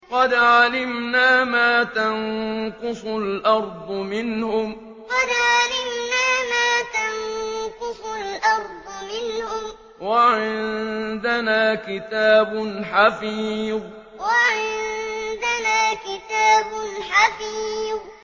قَدْ عَلِمْنَا مَا تَنقُصُ الْأَرْضُ مِنْهُمْ ۖ وَعِندَنَا كِتَابٌ حَفِيظٌ قَدْ عَلِمْنَا مَا تَنقُصُ الْأَرْضُ مِنْهُمْ ۖ وَعِندَنَا كِتَابٌ حَفِيظٌ